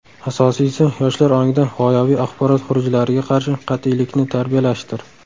Asosiysi yoshlar ongida g‘oyaviy axborot xurujlariga qarshi qat’iylikni tarbiyalashdir.